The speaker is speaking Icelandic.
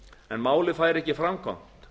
en málið fær ekki framgang